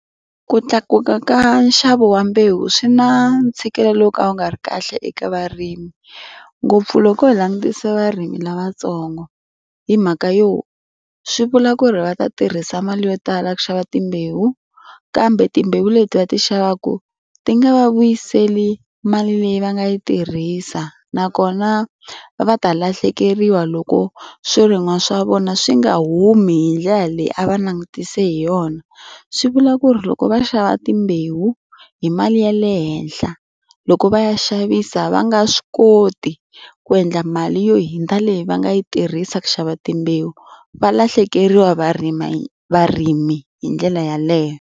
Ku tlakuka ka nxavo wa mbewu swi na ntshikelelo wo ka wu nga ri kahle eka varimi, ngopfu loko hi langutisa varimi lavatsongo. Hi mhaka yo swi vula ku ri va ta tirhisa mali yo tala ku xava timbewu, kambe timbewu leti va ti xavaku ti nga va vuyiseli mali leyi va nga yi tirhisa. Nakona va ta lahlekeriwa loko swirin'wa swa vona swi nga humi hi ndlela leyi a va langutise hi yona. Swi vula ku ri loko va xava ti mbewu hi mali ya le henhla, loko va ya xavisa va nga swi koti ku endla mali yo hundza leyi va nga yi tirhisa ku xava timbewu. Va lahlekeriwa varima varimi hi ndlela yeleyo.